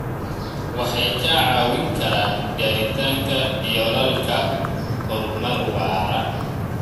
Waxay kaa caawin karaan gaaritaanka yoolalka horumar waara.